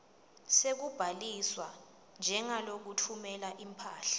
sekubhaliswa njengalotfumela imphahla